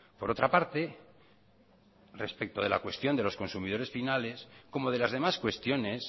por otra parte respecto de la cuestión de los consumidores finales como de las demás cuestiones